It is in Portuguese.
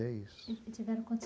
E é isso. E tiveram